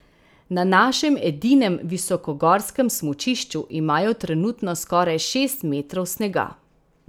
Na našem edinem visokogorskem smučišču imajo trenutno skoraj šest metrov snega.